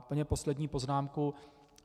Úplně poslední poznámka.